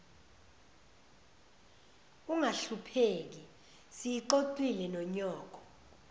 ungahlupheki siyixoxile nonyoko